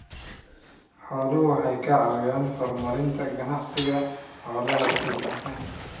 Xooluhu waxay ka caawiyaan horumarinta ganacsiga xoolaha guud ahaan.